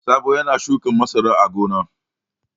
Sabo yana shukan masara a gona.